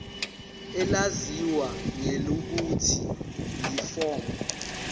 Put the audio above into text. elaziwa ngelokuthi yiform